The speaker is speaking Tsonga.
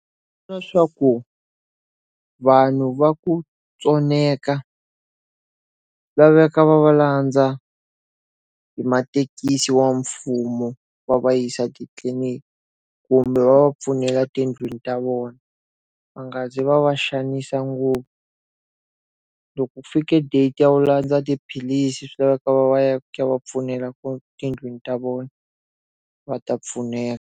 swa ku vanhu va ku tsoneka va veka va va landza hi mathekisi wa mfumo va va yisa titliniki kumbe va pfunela tindlwini ta vona. Va nga zi va va xanisa ngopfu. Loko ku fike date ya ku landza tiphilisi swi laveka va va ya ku va pfunela kona tindlwini ta vona, va ta pfuneka.